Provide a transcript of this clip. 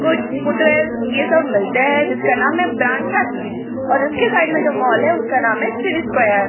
कुछ फुटवियर्स ये सब मिलते हैं जिनका नाम है ब्रांड फैक्ट्री और इसके साइड में जो मॉल है उसका नाम है सिटी स्क्वायर ।